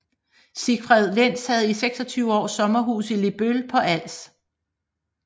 Siegfried Lenz havde i 26 år sommerhus i Lebøl på Als